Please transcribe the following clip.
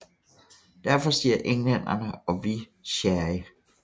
Derfor siger englænderne og vi sherry